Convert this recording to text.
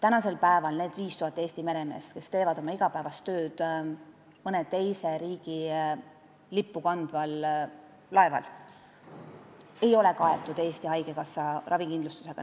Need 5000 Eesti meremeest, kes teevad oma igapäevast tööd mõne teise riigi lippu kandval laeval, ei ole tänasel päeval kaetud Eesti Haigekassa ravikindlustusega.